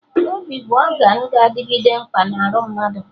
Obi bụ ọgan ga-adịgide mkpa na arụ mmadụ